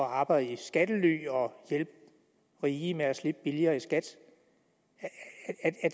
at arbejde i skattely og hjælpe rige med at slippe billigere i skat